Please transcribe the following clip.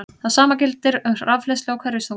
Það sama gildir um rafhleðslu og hverfiþunga.